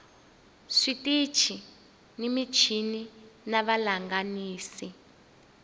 switichi ni michini na vahlanganisi